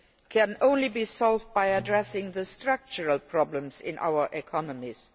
can only be resolved by addressing the structural problems in our economies.